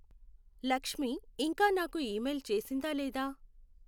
లక్ష్మీ ఇంకా నాకు ఈమెయిల్ చేసిందా లేదా?